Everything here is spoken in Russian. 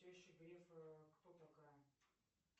теща грефа кто такая